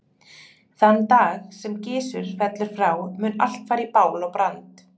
Þann dag sem Gizur fellur frá mun allt fara í bál og brand.